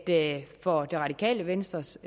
det radikale venstres